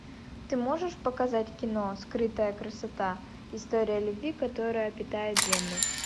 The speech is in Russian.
ты можешь показать кино скрытая красота история любви которая питает землю